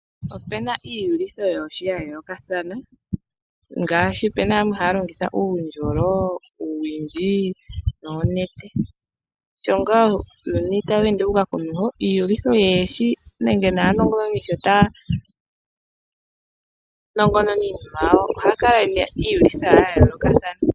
Opena iyugitho yoohi ya yoolokathana, ngaashi opena yamwe haya longitha uundjolo, uuwindji noonete. Sho ngaa uuyuni tawu ende wu uka komeho, iiyugitho yoohi nenge naanongononi sho taya nongonona iinima yawo ohaya kala yena iiyugitha ya yoolokathana.